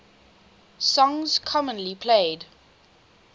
songs commonly played